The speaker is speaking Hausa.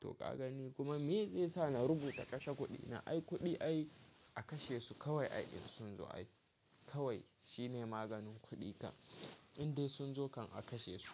To ka gani kuma me zai sa na rubuta kashe kuɗi na? Ai kuɗi ai a kashe su kawai ai ɗin sun zo ai. Kawai shine maganin kuɗi ka. In dai sun zo kan a kashe su.